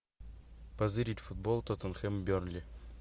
позырить футбол тоттенхэм бернли